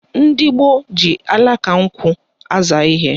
Ndị gboo ji alaka nkwụ aza ihe